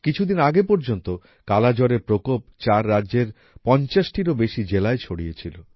কিছুদিন আগে পর্যন্ত কালা জ্বরের প্রকোপ চার রাজ্যের ৫০ টিরও বেশি জেলায় ছড়িয়েছিল